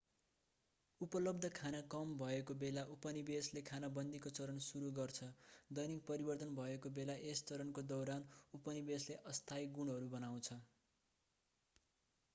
उपलब्ध खाना कम भएको बेला उपनिवेशले खानाबन्दीको चरण सुरु गर्छ दैनिक परिवर्तन भएको बेला यस चरणको दौरान उपनिवेशले अस्थायी गुँडहरू बनाउँछ